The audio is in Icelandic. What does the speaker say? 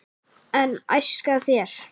en æska þér